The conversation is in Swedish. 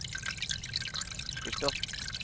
förstått